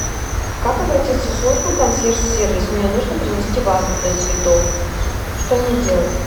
как обратиться в службу консьерж сервис мне нужно принести вазу для цветов что мне делать